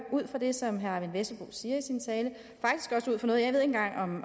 ud fra det som herre eyvind vesselbo siger i sin tale